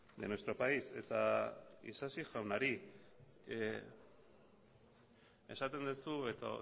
de nuestro país eta isasi jaunari esaten duzu edo